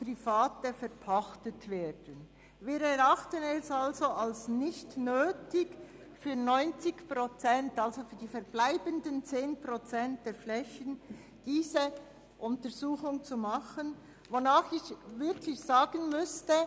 Wir erachten es nicht als nötig, diese Untersuchung für die verbleibenden 10 Prozent der Flächen durchzuführen, die dem Kanton Bern gehören.